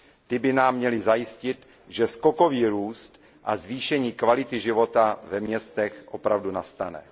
Ty by nám měly zajistit, že skokový růst a zvýšení kvality života ve městech opravdu nastane.